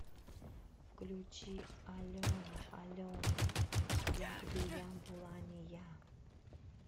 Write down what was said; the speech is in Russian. включи алена алена як би я була не я